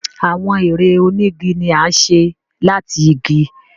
Awọn èrè onigi ní a ṣe láti ìgi.